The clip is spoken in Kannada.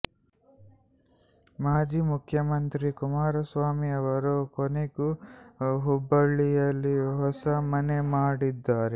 ಮಾಜಿ ಮುಖ್ಯಮಂತ್ರಿ ಕುಮಾರ ಸ್ವಾಮಿ ಅವರು ಕೊನೆಗೂ ಹುಬ್ಬಳ್ಳಿಯಲ್ಲಿ ಹೊಸ ಮನೆ ಮಾಡಿದ್ದಾರೆ